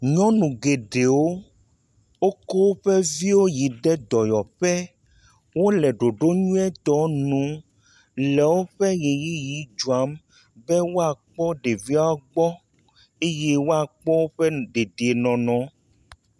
Nyɔu geɖewo, wokɔ oƒe viwo yi ɖe dɔyɔƒe, wole ɖoɖo nyuietɔ nu le woƒe ʋeyiʋi dzɔm be woakpɔ ɖeviawo gbɔ eye woakpɔ woƒe dedienɔnɔ.